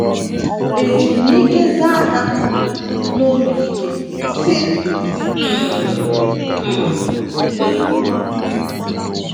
* Eji m ike zagha n’obi ike, sị, “ Mmm - mm - m!